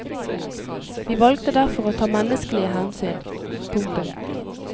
Vi valgte derfor å ta menneskelige hensyn. punktum